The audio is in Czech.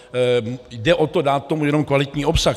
Jde o to, dát tomu jenom kvalitní obsah.